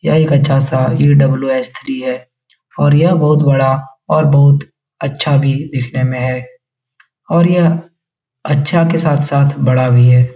यह एक अच्छा सा इ.डबल्यू.एस थ्री है और यह बहुत बड़ा और बहुत अच्छा भी दिखने में है और यह अच्छा के साथ-साथ बड़ा भी है ।